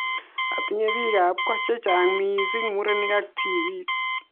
Atinye biik ab ko chechang missing murenik ak tibik